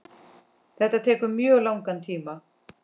Þetta tekur mjög langan tíma.